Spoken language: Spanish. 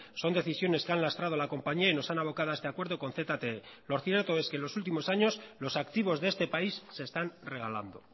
son decisiones que han lastrado a la compañía y nos han abocado hasta este acuerdo con zte lo cierto es que los últimos años los activos de este país se están regalando